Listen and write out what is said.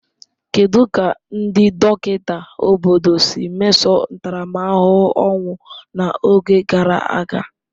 kedụ ka ndị dọkịta obodo si mesoo ntaramahụhụ ọnwụ n'oge gara aga?